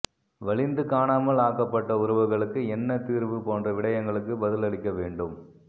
வலிந்து காணாமல் ஆக்கப்பட்ட உறவுகளுக்கு என்ன தீர்வு போன்ற விடயங்களுக்கு பதிலளிக்க வேண்டும்